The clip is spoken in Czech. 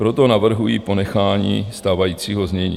Proto navrhuji ponechání stávajícího znění.